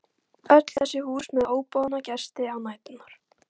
Öll þessi hús með óboðna gesti á næturnar.